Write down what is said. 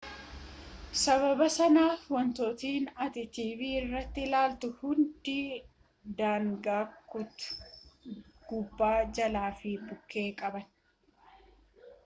sabaaba sanaaf wantootni ati tv irrati ilaaltu hundi daangaa kutu gubbaa jalaa fi bukke qaban